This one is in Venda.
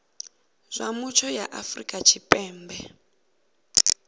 zwa mutsho ya afrika tshipembe